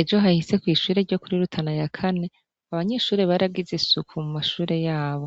Ejo hahise kw'ishure ryo kurirutana ya kane abanyishure baragize isuku mu mashure yabo